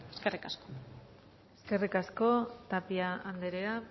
eskerrik asko eskerrik asko tapia andrea